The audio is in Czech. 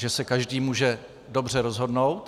Že se každý může dobře rozhodnout.